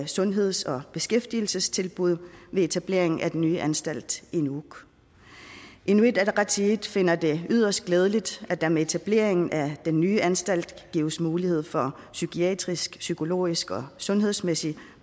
sundheds og beskæftigelsestilbud med etableringen af den nye anstalt i nuuk inuit ataqatigiit finder det yderst glædeligt at der med etableringen af den nye anstalt gives mulighed for psykiatrisk psykologisk og sundhedsmæssig